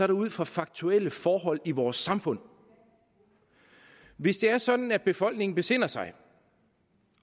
det ud fra faktuelle forhold i vores samfund hvis det er sådan at befolkningen besinder sig